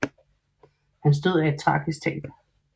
Hans død er et tragisk tab